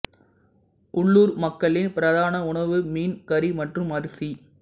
உள்ளூர் மக்களின் பிரதான உணவு மீன் கறி மற்றும் அரிசி